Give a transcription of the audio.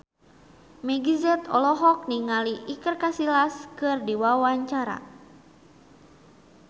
Meggie Z olohok ningali Iker Casillas keur diwawancara